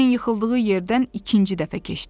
Bembini yıxıldığı yerdən ikinci dəfə keçdilər.